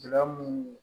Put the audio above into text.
Lamu